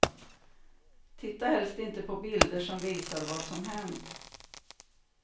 Titta helst inte på bilder som visar vad som hänt.